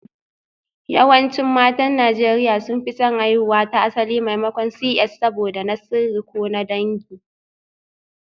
Yawancin matan Najeriya sun fi son haihuwa ta asali maimakon CS saboda na sirri ko na dangi